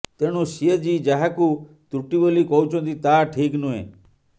ତେଣୁ ସିଏଜି ଯାହାକୁ ତ୍ରୁଟି ବୋଲି କହୁଛନ୍ତି ତାହା ଠିକ୍ ନୁହେଁ